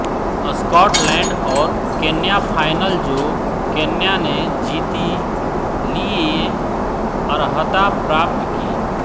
Scotland और Kenya final जो Kenya ने जीती लिए अर्हता प्राप्त की